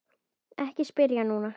Ekki spyrja núna!